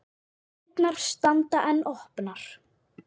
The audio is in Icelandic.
Dyrnar standa enn opnar.